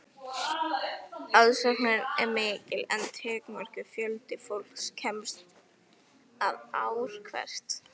Aðsóknin er mikil en takmarkaður fjöldi fólks kemst að ár hvert.